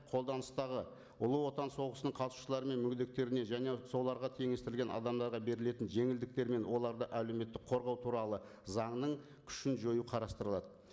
қолданыстағы ұлы отан соғысының қатысушылары мен мүгедектеріне және соларға теңестірілген адамдарға берілетін жеңілдіктер мен оларды әлеуметтік қорғау туралы заңының күшін жою қарастырылады